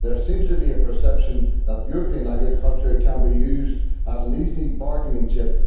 There seems to be a perception that European agriculture can be used as an easy bargaining chip.